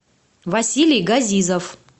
василий газизов